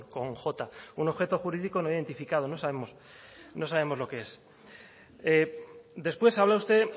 con j un objeto jurídico no identificado no sabemos no sabemos lo que es después habla usted